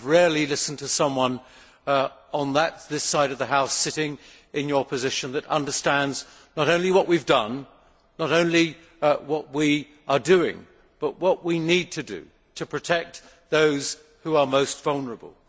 I have rarely listened to someone on this side of the House sitting in her position that understands not only what we have done, not only what we are doing, but what we need to do to protect those who are most vulnerable.